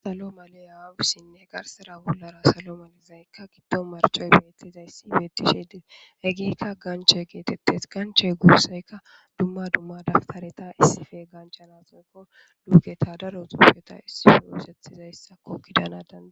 Salo maliyasine bollara garsera salo maliyaka gidon marciyi betizaysi beetishe desi. Hegeyika ganche geetetesi, gancheyi guusayka dumma dumma dawutareta issippe gachanasi luuketa daro xuufeta issippe oysethizaysa gidana danda'esi.